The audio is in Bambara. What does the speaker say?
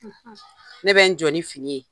Ne bɛ n jɔ ni fini ye.